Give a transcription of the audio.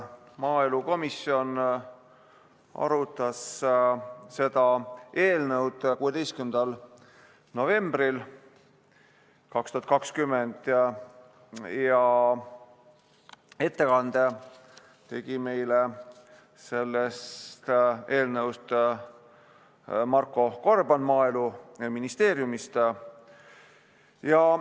Maaelukomisjon arutas seda eelnõu 16. novembril 2020 ja ettekande tegi meile sellest eelnõust Marko Gorban Maaeluministeeriumist.